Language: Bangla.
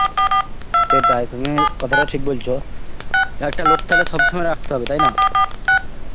সেটাই, তুমি কথাটা ঠিক বলছো. একটা লোক তালে সব সময় রাখতে হবে, তাই না?